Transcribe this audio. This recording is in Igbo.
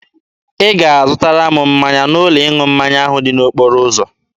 Ị ga-azụtara m mmanya n'ụlọ ịṅụ mmanya ahụ dị n'okporo ụzọ.